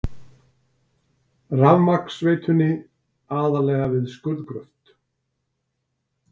Rafmagnsveitunni, aðallega við skurðgröft.